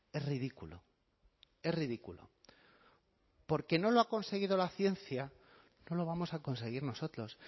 es ridículo es ridículo porque no lo ha conseguido la ciencia no lo vamos a conseguir nosotros